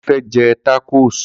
Kunle fẹ́ jẹ tákòs